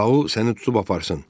Tau səni tutub aparsın.